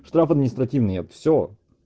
штраф административный все